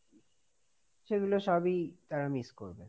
সেগুলো সবই তাঁরা miss করবে।